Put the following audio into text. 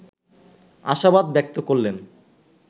আশাবাদ ব্যক্ত করলেন